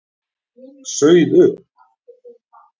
Sauð upp.